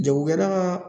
Jagokɛla ka